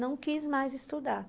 Não quis mais estudar.